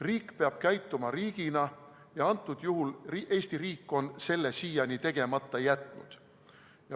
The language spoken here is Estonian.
Riik peab käituma riigina ja antud juhul on Eesti riik selle siiani tegemata jätnud.